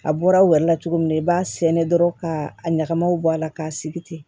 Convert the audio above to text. A bɔra aw yɛrɛ la cogo min na i b'a sɛnɛ dɔrɔn ka a ɲagamiw bɔ a la k'a sigi ten